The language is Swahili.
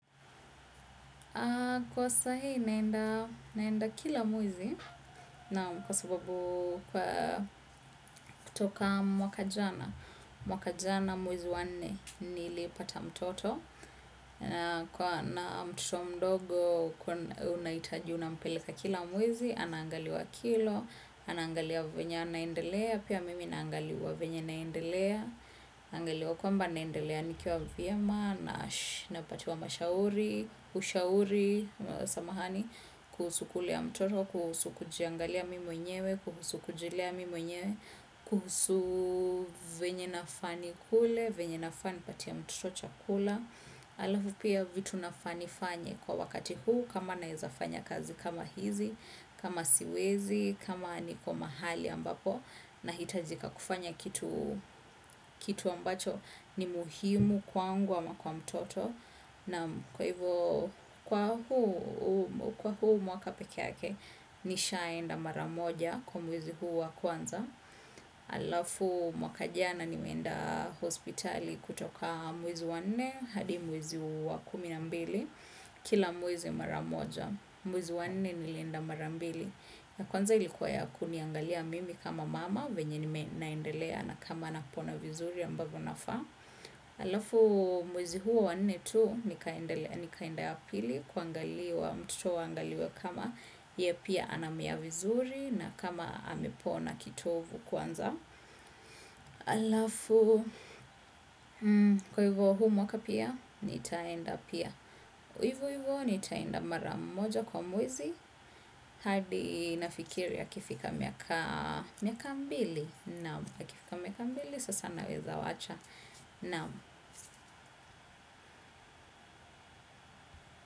Kwa sahi naenda kila mwezi na kwa sababu kutoka mwaka jana, mwaka jana mwezi wanne nilipata mtoto na mtoto mdogo unaitaji unampeleka kila mwezi, anaangaliwa kilo, anaangaliwa venye anaendelea, pia mimi naangaliwa venye naendelea, naangeliwa kwamba naendelea nikiwa vyema napatiwa, ushauri, samahani, kuhusu kulea ya mtoto, kuhusu kujiangalia mi menyewe, kuhusu kujilea mi mwenyewe, kuhusu venye nafaa nikule, venye nafaa nipatie mtoto chakula. Halafu pia vitu nafaa nifanye kwa wakati huu kama naeza fanya kazi kama hizi, kama siwezi, kama ni kwa mahali ambapo nahitajika kufanya kitu kitu ambacho ni muhimu kwangu ama kwa mtoto. Na kwa hivyo, kwa huu mwaka pekeake, nishaenda mara moja kwa mwezi huu wa kwanza. Halafu mwaka jana nimeenda hospitali kutoka mwezi wanne, hadi mwezi wa kumi na mbili. Kila mwezi mara moja, mwezi wanne nilienda mara mbili. Na kwanza ilikuwa ya kuniangalia mimi kama mama, venye ni naendelea na kama napona vizuri ambavyo nafaa. Halafu mwezi huo wanne tu nikaenda ya pili kuangaliwa mtoto waangaliwa kama ye pia anamia vizuri na kama amepona kitovu kwanza. Halafu kwa hivyo huu mwaka pia nitaenda pia. Hivo hivo nitaenda mara moja kwa mwezi hadi nafikiri akifika miaka mbili. Naam akifika miaka ambili sasa naweza wacha. Naam.